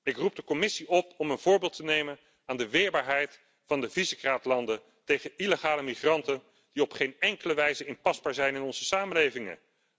is. Ik roep de Commissie op om een voorbeeld te nemen aan de weerbaarheid van de Visegrad landen tegen illegale migranten die op geen enkele wijze inpasbaar zijn in onze samenlevingen.